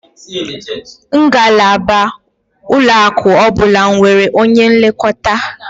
Ngalaba ụlọaku ọbụla nwere onye nlekọta